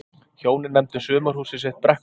hjónin nefndu sumarhúsið sitt brekkubæ